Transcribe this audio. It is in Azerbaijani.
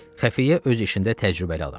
Xəfiyyə öz işində təcrübəli adam idi.